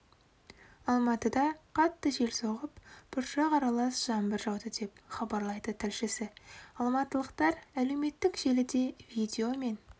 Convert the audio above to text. алматыда қатты жел соғып бұршақ аралас жаңбыр жауды деп хабарлайды тілшісі алматылықтар әлеуметтік желіде видео мен